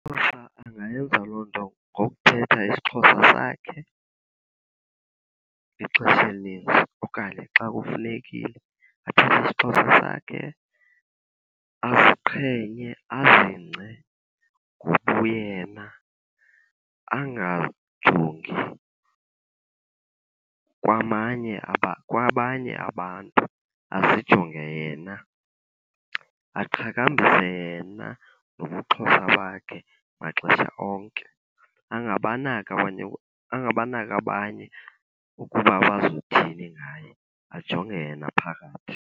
angayenza loo nto ngokuthetha isiXhosa sakhe ixesha elininzi okanye xa kufunekile. Athethe isiXhosa sakhe, aziqhenye, azingce ngobuyena. Angajongi kwamanye , kwabanye abantu azijonge yena. Aqhakambise yena ngobuXhosa bakhe maxesha onke, angabanaki , angabanaki abanye ukuba bazothini ngaye ajonge yena phakathi.